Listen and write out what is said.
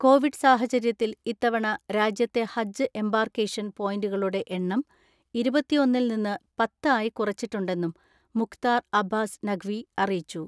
Covid സാഹചര്യത്തിൽ ഇത്തവണ രാജ്യത്തെ ഹജ്ജ് എമ്പാർക്കേഷൻ പോയന്റുകളുടെ എണ്ണം ഇരുപത്തിഒന്നിൽ നിന്ന് പത്ത് ആയി കുറച്ചിട്ടുണ്ടെന്നും മുഖ്താർ അബ്ബാസ് നഖ് വി അറിയിച്ചു.